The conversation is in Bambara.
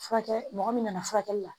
Furakɛ mɔgɔ min nana furakɛli la